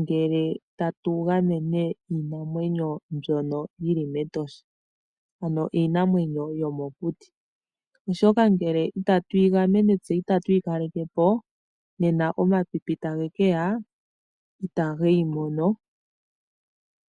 ngele tatu gamene iinamwenyo mbyono yili mEtosha ano iinamwenyo yomokuti. Oshoka ngele itatu yi gamene tse itatu yi kaleke po nena omapipi tage keya itage yimono.